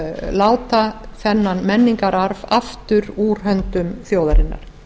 láta þennan menningararf aftur úr höndum þjóðarinnar